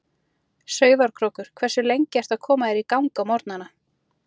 Sauðárkrókur Hversu lengi ertu að koma þér í gang á morgnanna?